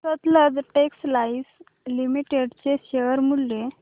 Sutlej textiles limited चे share मूल्य